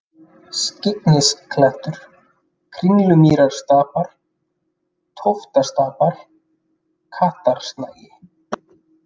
Skyggnisklettur, Kringlumýrarstapar, Tóftastapar, Kattarsnagi